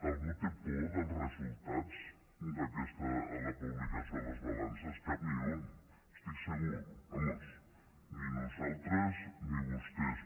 algú té por dels resultats de la publicació de les balances cap ni un n’estic segur vaja ni nosaltres ni vostès